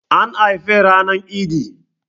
An haife ranar idi